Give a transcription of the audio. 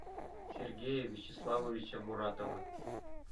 сергея вячеславовича муратова